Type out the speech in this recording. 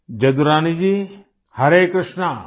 Jadurani ji Hare Krishna